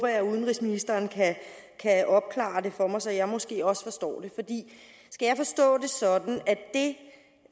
jeg at udenrigsministeren kan opklare det for mig så jeg måske også forstår det skal jeg forstå det